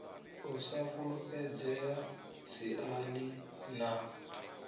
u sa fulufhedzea siani ḽa